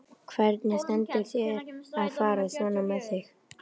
Hvernig stendur á þér að fara svona með þig?